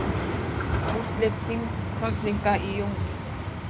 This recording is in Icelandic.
Úrslit þingkosninga í júní